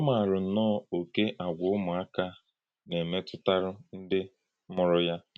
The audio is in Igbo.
Ọ̀ màrà nnọọ́ òkè àgwà ụmụàká na-emètùtárù ndí mùrù ha.